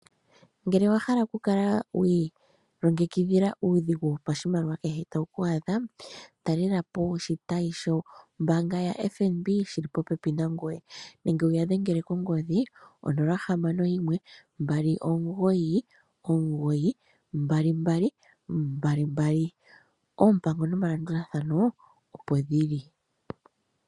Ngele owahala okukala wi ilongekidhila uudhigu wopashimaliwa kehe tawu ku adha, Talelapo oshitayi shombaanga ya FNB shili popepi nangoye nenge wuya dhengele konomola yongodhi 0612992222.Oompango noma landulathano opo dhili.